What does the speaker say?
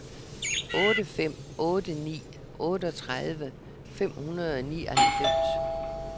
otte fem otte ni otteogtredive fem hundrede og nioghalvfems